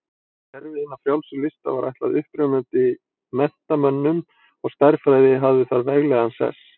Kerfi hinna frjálsu lista var ætlað upprennandi menntamönnum og stærðfræði hafði þar veglegan sess.